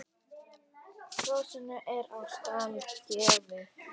Hrossum er á stall gefið.